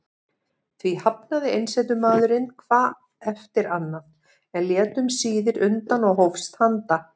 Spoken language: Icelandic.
Því hafnaði einsetumaðurinn hvað eftir annað, en lét um síðir undan og hófst handa.